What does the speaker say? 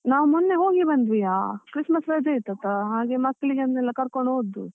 ನಾವ್ ಮೊನ್ನೆ ಹೋಗಿ ಬಂದ್ವಿಯಾ, Christmas ರಜೆ ಇತ್ತತಾ, ಹಾಗೆ ಮ್ಯಾಕ್ಲಿಗೆ ಏನೆಲ್ಲ ಕರ್ಕೊಂಡು ಹೊದ್ದು.